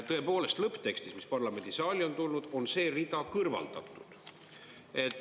Tõepoolest, lõpptekstis, mis parlamendisaali on tulnud, on see rida kõrvaldatud.